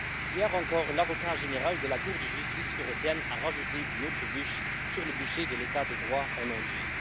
Hier encore, l'Avocat général de la Cour de justice européenne a rajouté une autre bûche sur le bûcher de l'état de droit en Hongrie.